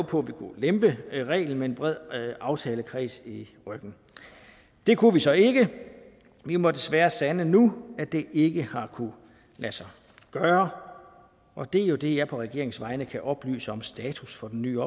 på at vi kunne lempe reglen med en bred aftalekreds i ryggen det kunne vi så ikke vi må desværre sande nu at det ikke har kunnet lade sig gøre og det er jo det jeg på regeringens vegne kan oplyse om status for den nye